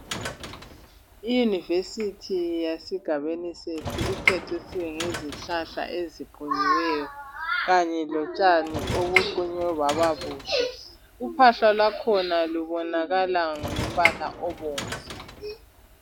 IYunivesi yesigabeni sethu icecisiwe ngezihlahla eziqunyiweyo kanye lotshani obuqunywe bababuhle. Uphahla lwakhona lubonakala ngombala obomvu